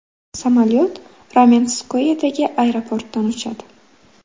Samolyot Ramenskoyedagi aeroportdan uchadi.